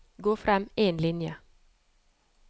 Gå frem én linje